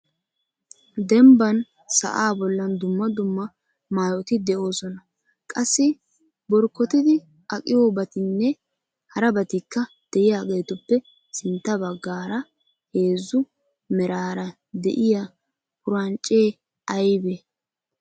Dembban sa'a bollan dumma dumma maayoti de'oosona. qassi borkkotidi aqqiyoobatinne harabatikka de'iyaageetuppe sintta baggaara heezzu meraara de'iyaa purancce aybbe ?